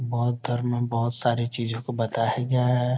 बौद्ध धर्म में बहोत सारी चीजों को बताया गया है।